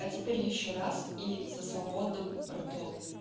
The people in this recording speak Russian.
а теперь ещё раз и со свободным ртом